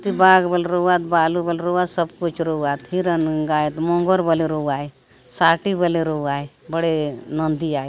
इती बाग बल रऊआत बालु रऊआत सब कुछ रऊआत हिरण गाय मोंगोर बले रऊआय साटी बले रउआय बड़े नंदी आय।